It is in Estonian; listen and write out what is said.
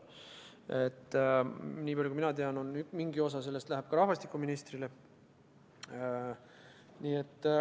Nii palju kui mina tean, läheb mingi osa sellest ka rahvastikuministrile.